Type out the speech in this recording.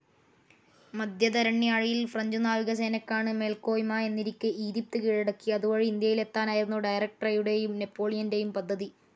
മധ്യധരണ്യാഴിയിൽ French നാവികസേനക്കാണ് മേൽക്കോയ്മ എന്നിരിക്കേ ഈജിപ്ത് കീഴടക്കി, അതു വഴി ഇന്ത്യയിലെത്താനായിരുന്നു ഡയറക്റ്ററിയുടേയും നെപോളിയന്റേയും പദ്ധതി,.